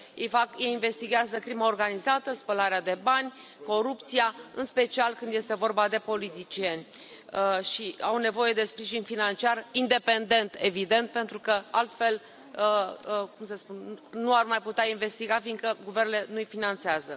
Ei investighează crima organizată, spălarea de bani, corupția în special când este vorba de politicieni și au nevoie de sprijin financiar independent, evident, pentru că altfel nu ar mai putea investiga, fiindcă guvernele nu i finanțează.